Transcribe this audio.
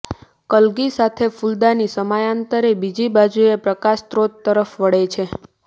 કલગી સાથે ફૂલદાની સમયાંતરે બીજી બાજુએ પ્રકાશ સ્ત્રોત તરફ વળે છે